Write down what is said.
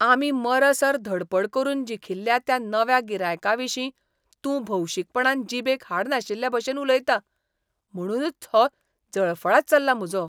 आमी मरसर धडपड करून जिखिल्ल्या त्या नव्या गिरायकाविशीं तूं भौशीकपणान जीबेक हाड नाशिल्लेभशेन उलयता. म्हणूनच हो जळफळाट चल्ला म्हजो.